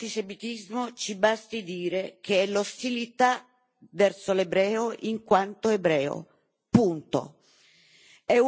Per definire l'antisemitismo ci basti dire che è l'ostilità verso l'ebreo in quanto ebreo, punto.